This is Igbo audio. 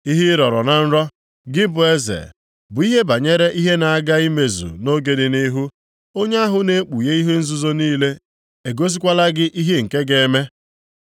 “Ihe ị rọrọ na nrọ, gị bụ eze, bụ ihe banyere ihe na-aga imezu nʼoge dị nʼihu. Onye ahụ na-ekpughe ihe nzuzo niile egosikwala gị ihe nke ga-eme.